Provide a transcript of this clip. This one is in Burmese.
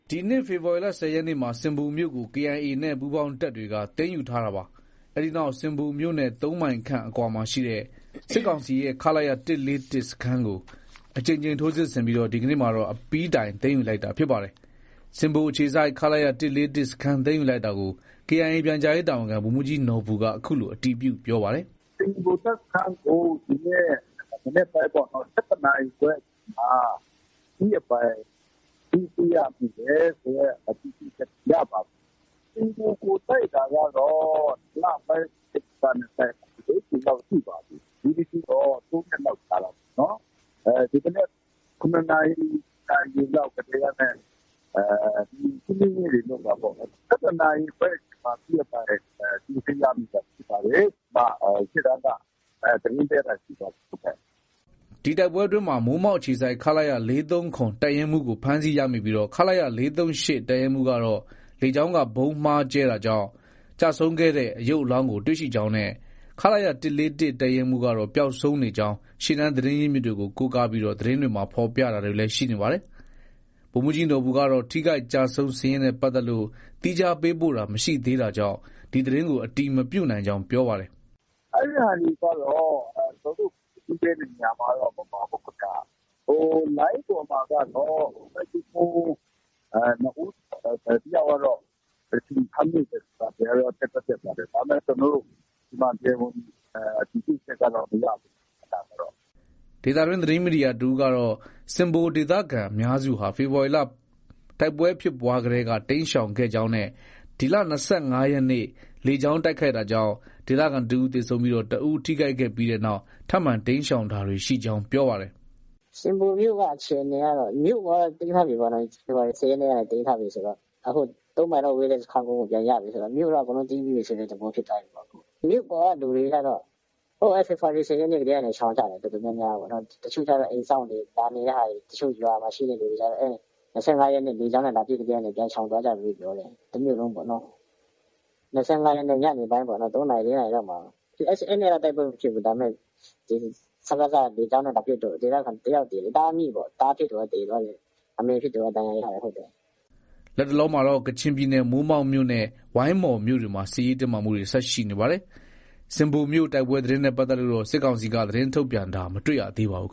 ဒီနှစ်ဖေဖော်ဝါရီလ ၁၀ ရက်နေ့မှာ ဆင်ဘိုမြို့ကို KIA နဲ့ ပူးပေါင်းတပ်တွေက သိမ်းယူထားခဲ့တာပါ။ အဲဒီနောက် ဆင်ဘိုမြို့နဲ့ ၃မိုင်ခန့်အကွာရှိ စစ်ကောင်စီရဲ့ ခလရ ၁၄၁ စခန်းကို အကြိမ်ကြိမ် ထိုးစစ်ဆင်ပြီး ဒီကနေ့မှာတော့ အပြီးတိုင် သိမ်းယူလိုက်တာဖြစ်ပါတယ်။ ဆင်ဘိုအခြေစိုက် ခလရ ၁၄၁ စခန်းသိမ်းယူလိုက်တာကို KIA ပြန်ကြားရေးတာဝန်ခံ ဗိုလ်မှုးကြီးနော်ဘူက အခုလို အတည်ပြု ပြောပါတယ်။ “ ဆင်ဘို တပ်စခန်းကို ဒီနေ့မနက် ၁၁နာရီခွဲအချိန်မှာ အပြီးအပိုင် သိမ်းဆည်းရမိတယ်ဆိုတဲ့ အတည်ပြုချက် ရပါတယ်။ ဆင်ဘိုကို တိုက်တာကတော့ ၂လပိုင်း ၁၀ရက်ကနေ ၄ကြိမ်လောက်ရှိပါပြီ။ ဒီတကြိမ်တော့ ၃ရက်လောက်ကြာတာပေါ့နော်။ ဒီမနက် ၇နာရီလောက်ကတည်းကနဲ့ ရှင်းလင်းရေးတွေ လုပ်တာပေါ့နော်။ ၁၁နာရီခွဲအချိန်မှာ အပြီးအပိုင် သိမ်းဆည်းရမိတာဖြစ်ပါတယ်ဆိုတာ ရှေ့တန်းက သတင်းပေးတာရှိပါတယ်။” ဒီတိုက်ပွဲအတွင်းမှာ မိုးမောက်အခြေစိုက် ခလရ ၄၃၇ တပ်ရင်းမှုးကို ဖမ်းဆီးရမိပြီး ခလရ ၄၃၈ တပ်ရင်းမှုးကတော့ လေကြောင်းက ဗုံးမှားကြဲတာကြောင့် ကျဆုံးခဲ့တဲ့ ရုပ်အလောင်းကို တွေ့ရှိကြောင်းနဲ့ ခလရ ၁၄၁ တပ်ရင်းမှုး ပျောက်ဆုံးနေကြောင်း ရှေ့တန်းသတင်းရင်းမြစ်တွေကို ကိုးကားပြီး သတင်းဖော်ပြတာ တွေလည်း ရှိနေပါတယ်။ ဗိုလ်မှုးကြီးနော်ဘူကတော့ ထိခိုက်ကျဆုံးစာရင်းနဲ့ပတ်သက်လို့တော့ သီးခြား ပေးပို့တာမရှိသေးတာကြောင့် ဒီသတင်းကို အတည်မပြုနိုင်ကြောင်း ပြောပါတယ်။ “ အဲဒီဟာတွေကတော့ ကျနောတို့ သတင်းပေးတဲ့ဟာမှာတော့ မပါဘူးခင်ဗျ။ ဟို လိုင်းပေါ်မှာကတော့ တပ်ရင်းမှုး ၂ဦး၊ တယောက်ကတော့ အရှင်ဖမ်းမိတာတွေကတော့ တက်တော့ တက်ပါတယ်။ ဒါပေမဲ့ကျနော်တို့ တရားဝင်အတည်ပြုချက်ကတော့ မရသေးဘူး ။ ဒါကတော့။ ” ဒေသတွင်း သတင်းမီဒီယာသမားတဦးကတော့ ဆင်ဘိုဒေသခံအများစုဟာ ဖေဖော်ဝါရီလ တိုက်ပွဲဖြစ်ကတည်းက တိမ်းရှောင်ခဲ့ကြောင်းနဲ့ ဒီလ ၂၅ရက်နေ့ လေကြောင်းတိုက်ခိုက်တာကြောင့် ဒေသခံတဦးသေဆုံးပြီး တဦး ထိခိုက်ခဲ့ပြီးနောက် ထပ်မံ တိမ်းရှောင်တာတွေ ရှိကြောင်း ပြောပါတယ်။ “ ဆင်ဘိုမြို့ကတော့ မြို့ပေါ်ကတော့ သိမ်းထားပြီပေါ့နော်။ ဖေဖော်ဝါရီ ၁၀ရက်နေ့က သိမ်းထားပြီဆိုတော့ အခု ၃မိုင်လောက်ဝေးတဲ့ စခန်းကုန်းကို ပြန်ရပြီဆိုတော့ မြို့က တမြို့လုံးသိမ်းပြီးပြီဆိုတဲ့ သဘောဖြစ်သွားတာပေါ့။ မြို့ပေါ်ကလူတွေကတော့ ဟိုး ဖေဖော်ဝါရီ ၁၀ရက်နေ့ကတည်းကနေ ရှောင်ကြတာ။ တော်တော်များများပေါ့နော်။ တချို့ အိမ်စောင့်တဲ့ဟာတွေ။ ရွာမှာရှိတဲ့ဟာတွေကျတော့ ၂၅ရက်နေ့ လေကြောင်းနဲ့ လာပစ်ကတည်းကနေ ပြန်ရှောင်သွားကြပြီလို့ ပြောတယ်။ တမြို့လုံးပေါ့နော။ ၂၅ရက်နေ့ ညနေပိုင်းပေါ့နော်။ ၃နာရီ၊ ၄နာရီလောက်မှာ ၊ အဲဒီနေ့က တိုက်ပွဲမဖြစ်ဘူး။ ဒါပေမဲ စကစက လေကြောင်းနဲ့ လာပစ်လို့ ဒေသခံ တယောက်သေတယ်။ သားအမိပေါ့။ သားဖြစ်သူက သေသွားပြီး အမေဖြစ်သူက ဒဏ်ရာရတာဟုတ်တယ်။ ” လတ်တလောမှာတော့ ကချင်ပြည်နယ် မိုးမောက်မြို့နဲ့ ဝိုင်းမော်မြို့တွေမှာ စစ်ရေးတင်းမာမှုတွေ ဆက်ရှိနေပါတယ်။ ဆင်ဘိုမြို့ တိုက်ပွဲသတင်းနဲ့ပတ်သက်လို့တော့ စစ်ကောင်စီဘက်က သတင်းထုတ်ပြန်တာ မတွေ့ရပါဘူး